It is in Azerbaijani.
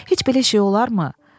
Heç bir işi yoxdur, olarmı?